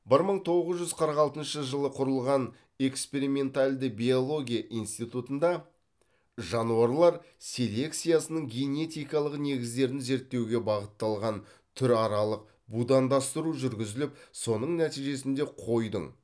бір мың тоғыз жүз қырық алтыншы жылы құрылған экспериментальді биология институтында жануарлар селекциясының генетикалық негіздерін зерттеуге бағытталған түр аралық будандастыру жүргізіліп соның нәтижесінде қойдың